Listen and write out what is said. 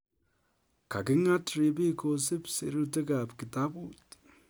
Kakingat ripik kosup sirutik ap kitaput